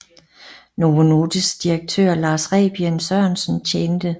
Novo Nordisk direktør Lars Rebien Sørensen tjente